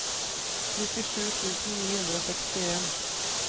nittisju tusen ni hundre og sekstien